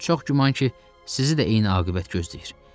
Çox güman ki, sizi də eyni aqibət gözləyir.